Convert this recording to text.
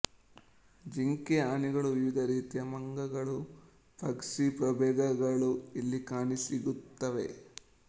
ಜಿಂಕೆ ಆನೆಗಳು ವಿವಿಧ ರೀತಿಯ ಮಂಗಗಳು ಪಕ್ಷಿ ಪ್ರಭೇದಗಳು ಇಲ್ಲಿ ಕಾಣಸಿಗುತ್ತವೆ